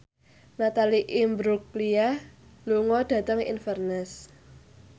Natalie Imbruglia lunga dhateng Inverness